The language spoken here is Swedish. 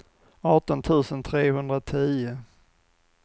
arton tusen trehundratio